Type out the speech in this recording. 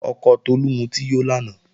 Ọkọ Tolú mutí yó lánàá